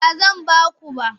Ba zan ba ku ba.